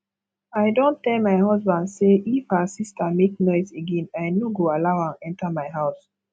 i don tell my husband say if her sister make noise again i no go allow am enter my house